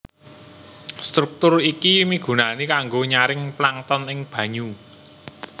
Struktur iki migunani kanggo nyaring plankton ing banyu